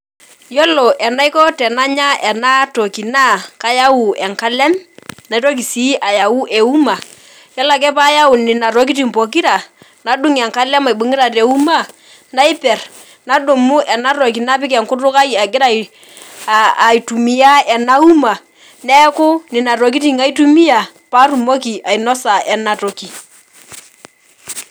Iyolo enaiko tananya enatoki na kayau enkalem naitoki si ayau eum, yiolo ake payau nona tokitin pokira adung enkalem aibungita teuma naiper nadumu enatoki napik enkutuk aai agira aaitumia enauma neaku nonatokitin aitumia patumoki ainosa enatoki.